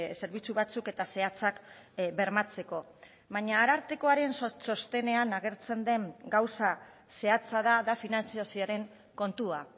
zerbitzu batzuk eta zehatzak bermatzeko baina arartekoaren txostenean agertzen den gauza zehatza da da finantzazioaren kontua